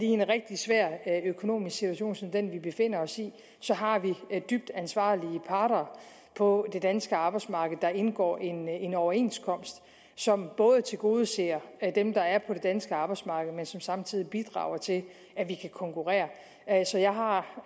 en rigtig svær økonomisk situation som den vi befinder os i har dybt ansvarlige parter på det danske arbejdsmarked der indgår en en overenskomst som både tilgodeser dem der er på det danske arbejdsmarked og som samtidig bidrager til at vi kan konkurrere så jeg har